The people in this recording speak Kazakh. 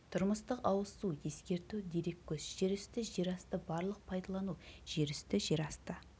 тұрмыстық ауыз су ескерту дереккөз жер үсті жер асты барлық пайдалану жер үсті жер асты